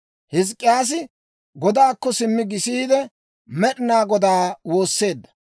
Hizk'k'iyaasi godaakko simmi gisiide, Med'inaa Godaa woosseedda.